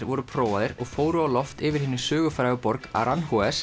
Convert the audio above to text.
voru prófaðir og fóru á loft yfir hinni sögufrægu borg